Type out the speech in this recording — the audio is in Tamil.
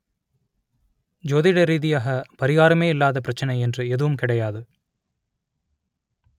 ஜோதிட ரீதியாக பரிகாரமே இல்லாத பிரச்சனை என்று எதுவும் கிடையாது